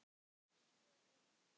Svo óvænt.